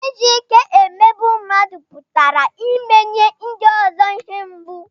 Iji ike emegbu mmadụ pụtara imenye ndị ọzọ ihe mgbu